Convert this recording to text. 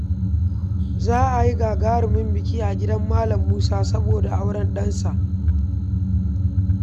Za a yi gagarumin biki a gidan Malam Musa saboda auren ɗansa.